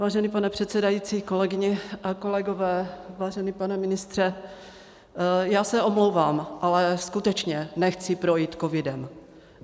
Vážený pane předsedající, kolegyně a kolegové, vážený pane ministře, já se omlouvám, ale skutečně nechci projít covidem.